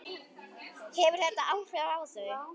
Hefur þetta áhrif á þau?